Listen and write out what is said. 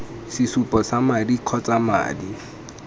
sesupo sa madi kgotsa madi